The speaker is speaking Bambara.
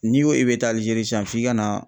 N'i ko i be taa Algérie san f'i ka na